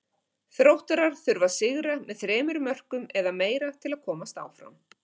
Þróttarar þurfa að sigra með þremur mörkum eða meira til að komast áfram.